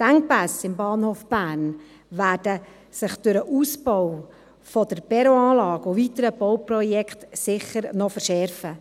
Die Engpässe im Bahnhof Bern werden sich durch den Ausbau der Perronanlage und weitere Bauprojekte sicher noch verschärfen.